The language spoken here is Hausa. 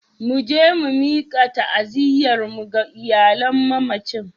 Mu je mu mika ta'aziyyarmu ga iyalan mamacin.